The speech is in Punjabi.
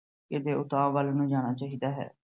ਉਤਾਹ ਵੱਲ ਨੂੰ ਜਾਣਾ ਚਾਹੀਦਾ ਹੈ।